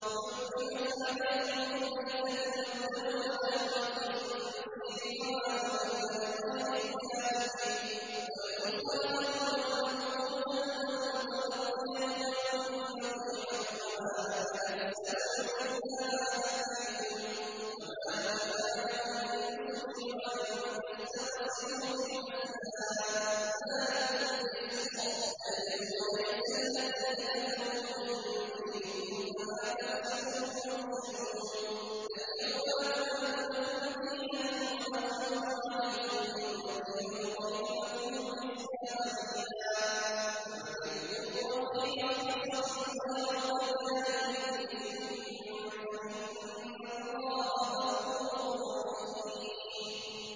حُرِّمَتْ عَلَيْكُمُ الْمَيْتَةُ وَالدَّمُ وَلَحْمُ الْخِنزِيرِ وَمَا أُهِلَّ لِغَيْرِ اللَّهِ بِهِ وَالْمُنْخَنِقَةُ وَالْمَوْقُوذَةُ وَالْمُتَرَدِّيَةُ وَالنَّطِيحَةُ وَمَا أَكَلَ السَّبُعُ إِلَّا مَا ذَكَّيْتُمْ وَمَا ذُبِحَ عَلَى النُّصُبِ وَأَن تَسْتَقْسِمُوا بِالْأَزْلَامِ ۚ ذَٰلِكُمْ فِسْقٌ ۗ الْيَوْمَ يَئِسَ الَّذِينَ كَفَرُوا مِن دِينِكُمْ فَلَا تَخْشَوْهُمْ وَاخْشَوْنِ ۚ الْيَوْمَ أَكْمَلْتُ لَكُمْ دِينَكُمْ وَأَتْمَمْتُ عَلَيْكُمْ نِعْمَتِي وَرَضِيتُ لَكُمُ الْإِسْلَامَ دِينًا ۚ فَمَنِ اضْطُرَّ فِي مَخْمَصَةٍ غَيْرَ مُتَجَانِفٍ لِّإِثْمٍ ۙ فَإِنَّ اللَّهَ غَفُورٌ رَّحِيمٌ